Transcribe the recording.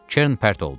Kern pərt oldu.